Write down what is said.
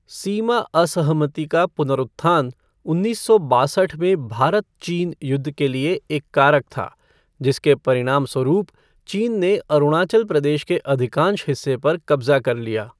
सीमा असहमति का पुनरुत्थान उन्नीस सौ बासठ में भारत चीन युद्ध के लिए एक कारक था, जिसके परिणामस्वरूप चीन ने अरुणाचल प्रदेश के अधिकांश हिस्से पर कब्जा कर लिया।